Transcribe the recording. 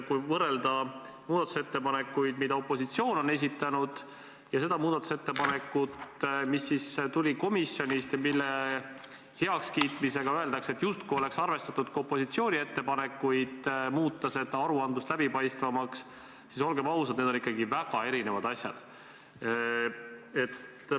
Kui võrrelda muudatusettepanekuid, mille opositsioon on esitanud, ja seda muudatusettepanekut, mis tuli komisjonist ja mille heakskiitmisega öeldakse, justkui oleks arvestatud ka opositsiooni ettepanekut muuta aruandlus läbipaistvamaks, siis olgem ausad, et need on ikkagi väga erinevad asjad.